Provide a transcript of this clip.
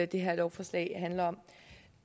det her lovforslag handler om